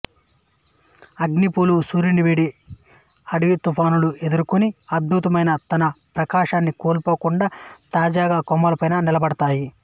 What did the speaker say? అగ్నిపూలు సూర్యుని వేడి అడవి తుఫానులను ఎదుర్కొని అద్భుతమైన తన ప్రకాశాన్ని కోల్పోకుండా తాజాగా కొమ్మలపై నిలబడుతాయి